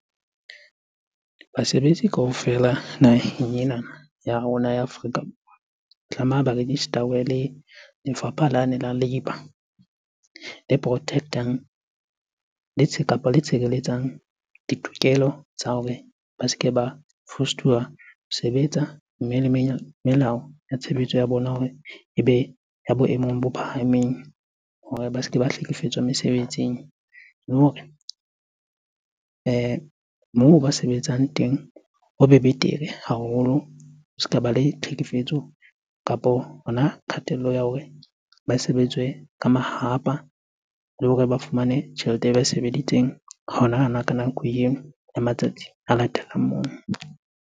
Basebetsi kaofela naheng ena ya rona ya Afrika Borwa, tlameha ba register-we le lefapha lane la labour le protect-ectang kapa le tshireletsang ditokelo tsa hore ba se ke ba fostuwa ho sebetsa. Mme le melao tshebetso ya bona hore ebe ya boemong bo phahameng hore ba se ke ba hlekefetswa mesebetsing. Le hore moo ba sebetsang teng hobe betere haholo, ho se ka ba le tlhekefetso kapo hona kgatello ya hore ba sebetswe ka mahahapa. Le hore ba fumane tjhelete e ba e sebeditseng hona-hona ka nako eo ya matsatsi a latelang moo.